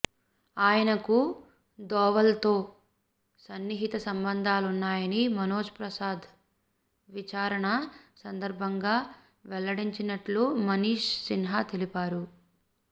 ఆయనకు ధోవల్తో సన్నిహిత సంబంధాలున్నాయని మనోజ్ ప్రసాద్ విచారణ సందర్భంగా వెల్లడించినట్లు మనీష్ సిన్హా తెలిపారు